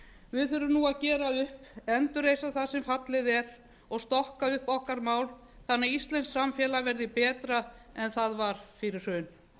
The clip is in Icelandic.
við þurfum nú að gera upp endurreisa það sem fallið er og stokka upp okkar mál þannig að íslenskt samfélag verði betra en það var fyrir hrun